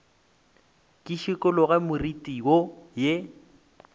ke šikologe moriti wo ye